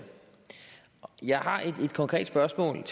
jeg har et konkret spørgsmål